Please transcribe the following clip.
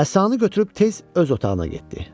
Əsanı götürüb tez öz otağına getdi.